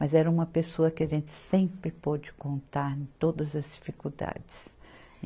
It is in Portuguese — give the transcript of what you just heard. Mas era uma pessoa que a gente sempre pôde contar em todas as dificuldades.